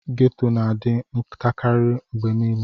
Ghetto na adi ntakari mgbe nile.